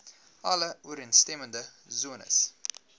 alle ooreenstemmende sones